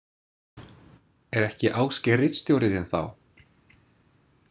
Er ekki Ásgeir ritstjóri þinn þá?